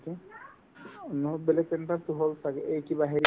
নহয় black panther তো হ'ল ছাগে এই কিবা হেৰি